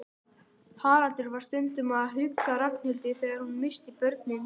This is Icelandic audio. Haraldur var stundum að hugga Ragnhildi þegar hún missti börnin.